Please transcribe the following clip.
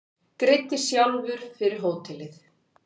Greiddi sjálfur fyrir hótelið